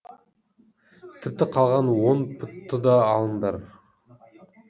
тіпті қалған он пұтты да алыңдар